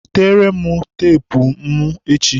Wetere m teepu ọrụ mụ echi!